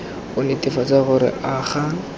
go netefatsa gore a ga